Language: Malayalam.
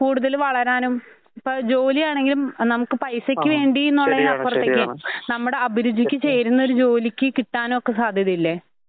കൂടുതൽ വളരാനും ഇപ്പ ജോലിയാണെങ്കിലും നമുക്ക് പൈസക്ക് വേണ്ടീന്നപ്പുറത്തേക്ക് നമ്മുടെ അഭിരുചിക്ക് ചേരുന്നൊരു ജോലിക്ക് കിട്ടാനൊക്കെ സാധ്യതയില്ലെ?